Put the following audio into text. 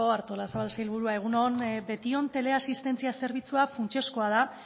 artolazabal sailburua egun on betion teleasistentzia zerbitzua funtsezkoa da